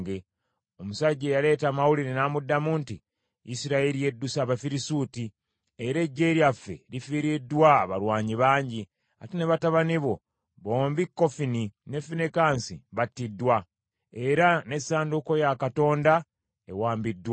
Omusajja eyaleeta amawulire n’amuddamu nti, “Isirayiri edduse Abafirisuuti, era eggye lyaffe lifiiriddwa abalwanyi bangi. Ate ne batabani bo bombi Kofuni ne Finekaasi battiddwa, era n’essanduuko ya Katonda ewambiddwa.”